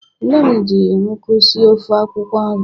Nne m ji nkụ sie ofe akwukwo nri